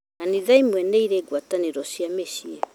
Kanitha imwe nĩ irĩ ngwatanĩro cia mĩciĩ